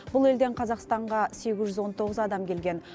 бұл елден қазақстанға сегіз жүз он тоғыз адам келген